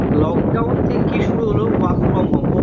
Lockdown থেকে কি শুরু হলো work from home